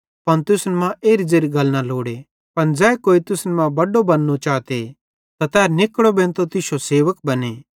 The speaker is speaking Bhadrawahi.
पन तुसन मां एरी ज़ेरि गल न लोड़े पन ज़ै कोई तुसन मां बड्डो बन्नू चाए त तै निकड़ो बेनतां तुश्शो सेवक बने